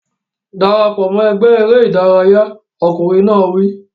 Dara pọ̀ mọ́ ẹgbẹ́ eré ìdárayá! Ọkùnrin náà wí.